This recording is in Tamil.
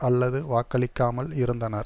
அல்லது வாக்களிக்காமல் இருந்தனர்